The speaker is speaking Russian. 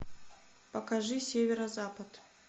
покажи северо запад